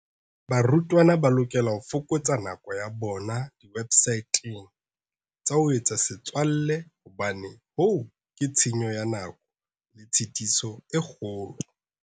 Barutwana ba lokela ho fokotsa nako ya bona diwebsateng tsa ho etsa setswalle hobane hoo ke tshenyo ya nako le tshitiso e kgolo.